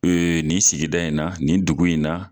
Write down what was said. Ee nin sigida in na nin dugu in na